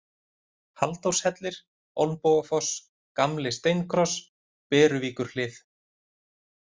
Halldórshellir, Olnbogafoss, Gamli-Steinkross, Beruvíkurhlið